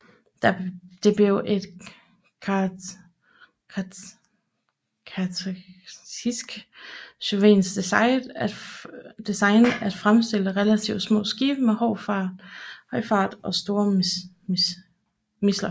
Det blev et karakteristisk sovjetisk design at fremstille relativt små skibe med høj fart og store missiler